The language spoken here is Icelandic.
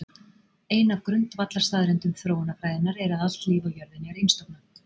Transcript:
Ein af grundvallarstaðreyndum þróunarfræðinnar er að allt líf á jörðinni er einstofna.